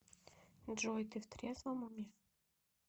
джой ты в трезвом уме